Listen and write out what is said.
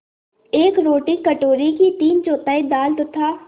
एक रोटी कटोरे की तीनचौथाई दाल तथा